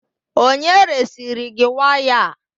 Onye resiri gị waya a?